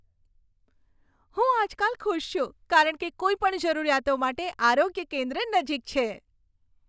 હું આજકાલ ખુશ છું કારણ કે કોઈપણ જરૂરિયાતો માટે આરોગ્ય કેન્દ્ર નજીક છે.